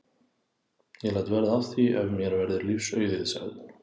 Ég læt verða af því ef mér verður lífs auðið sagði hún.